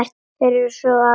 Þeir sáu okkur alveg!